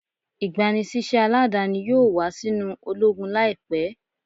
Igbanisiṣẹ aladani yoo wa sinu ologun laipẹ